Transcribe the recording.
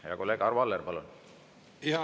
Hea kolleeg Arvo Aller, palun!